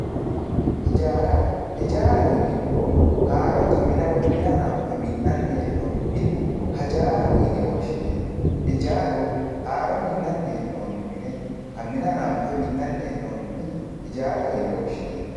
ijjaara ijjaaraho yinemohu haarotte minna woyyi minna hananfe minanni hananonni minne ijjaaraho yinne woshinemo ijjaaru haro minanni henonni mine minna hananfe minanni henonni mine ijjaaraho yine woshinemo